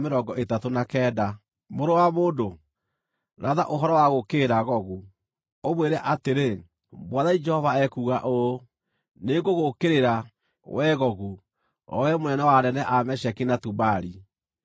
“Mũrũ wa mũndũ, ratha ũhoro wa gũũkĩrĩra Gogu, ũmwĩre atĩrĩ: ‘Mwathani Jehova ekuuga ũũ: Nĩngũgũũkĩrĩra, wee Gogu, o wee mũnene wa anene a Mesheki na Tubali.